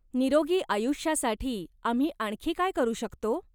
निरोगी आयुष्यासाठी आम्ही आणखी काय करू शकतो?